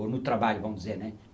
Ou no trabalho, vamos dizer, né?